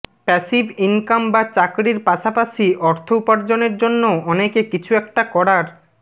passive income বা চাকরির পাশাপাশি অর্থ উপার্জনের জন্য অনেকে কিছু একটা করার